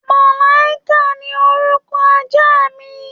Màlàíkà ni orúkọ ajá mi